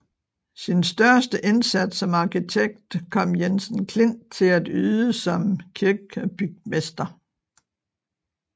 Sin største indsats som arkitekt kom Jensen Klint til at yde som kirkebygmester